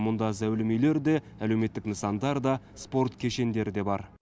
мұнда зәулім үйлер де әлеуметтік нысандар да спорт кешендері де бар